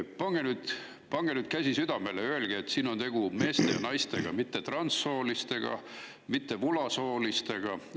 Pange nüüd käsi südamele ja öelge, et siin on tegu meeste ja naistega, mitte transsoolistega ega vulasoolistega!